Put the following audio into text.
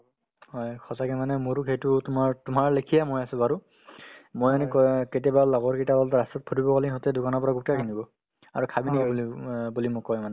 হয় সঁচাকে মানে মোৰো সেইটো তোমাৰ তোমাৰলেখিয়া মই আছো বাৰু মই এনেকুৱা কেতিয়াবা লগৰ কেইটাই ৰাস্তাত ফুৰিব গ'লে সিহঁতে দোকানৰ পৰা গুটকাই কিনিব আৰু খাবিনা বুলি অ বুলি মোক কই মানে